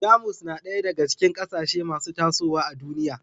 Jamus na ɗaya daga cikin ƙasashe masu tasowa a duniya